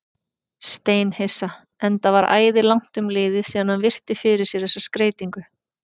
Steinhissa, enda var æði langt um liðið síðan hann virti fyrir sér þessa skreytingu.